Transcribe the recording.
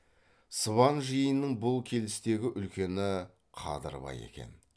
сыбан жиынының бұл келістегі үлкені қадырбай екен